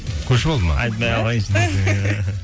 көшіп алды ма